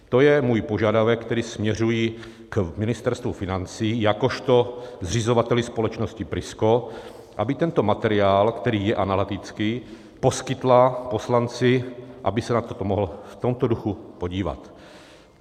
To je můj požadavek, který směřuji k Ministerstvu financí jakožto zřizovateli společnosti Prisko, aby tento materiál, který je analytický, poskytla poslanci, aby se na toto mohl v tomto duchu podívat.